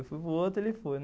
Eu fui para o outro, ele foi.